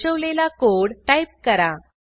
दर्शवलेला code type करा